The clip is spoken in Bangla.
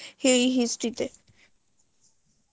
history তে